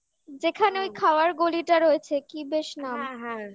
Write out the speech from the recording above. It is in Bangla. যেখানে ওই খাওয়ার গলিটা রয়েছে কি বেশ নাম হ্যাঁ হ্যাঁ